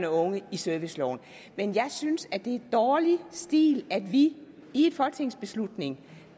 unge i serviceloven men jeg synes at det er dårlig stil at vi i en folketingsbeslutning